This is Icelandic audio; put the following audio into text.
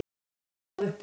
Hún stóð upp úr.